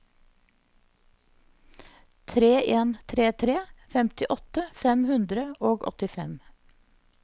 tre en tre tre femtiåtte fem hundre og åttifem